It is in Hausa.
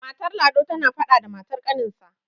matar lado tana faɗa da matar ƙaninsa